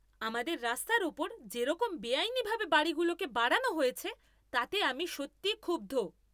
আমাদের রাস্তার ওপর যেরকম বেআইনিভাবে বাড়িগুলোকে বাড়ানো হয়েছে তাতে আমি সত্যিই ক্ষুব্ধ।